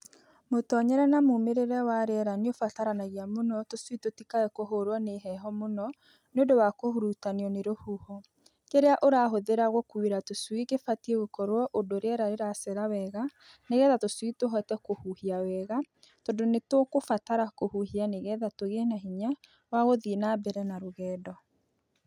Mũtonyere na mumĩrĩre wa rĩera nĩũbataranagia mũno tũcui tũtikae kũhũrwo nĩ heho mũno nĩũndũ wa kũhurutanio nĩ rũhuho; kĩrĩa ũrahũthĩra gũkuĩra tũcui kĩbatiĩ gũkorwo ũndũ riera rĩracera wega nĩgetha tũcui tũhote kũhuhia wega tondũ nĩtũkũbatara kũhuhia nĩgetha tũgĩe na hinya wa gũthiĩ na mbere na rũgendo.